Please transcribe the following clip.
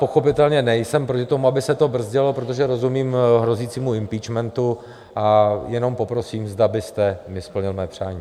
Pochopitelně nejsem proti tomu, aby se to brzdilo, protože rozumím hrozícímu impeachmentu , a jenom poprosím, zda byste mi splnil mé přání.